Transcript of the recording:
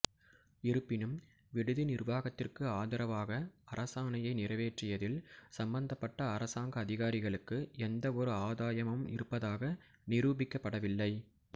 இருப்பினும் விடுதி நிர்வாகத்திற்கு ஆதரவாக அரசாணையை நிறைவேற்றியதில் சம்பந்தப்பட்ட அரசாங்க அதிகாரிகளுக்கு எந்தவொரு ஆதாயமும் இருப்பதாக நிரூபிக்கப்படவில்லை